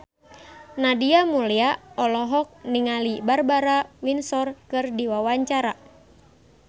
Nadia Mulya olohok ningali Barbara Windsor keur diwawancara